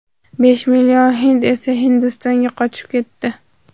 Besh million hind esa Hindistonga qochib o‘tdi.